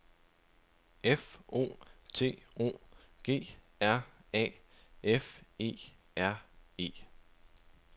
F O T O G R A F E R E